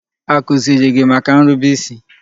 A kụziri gị maka nrube isi?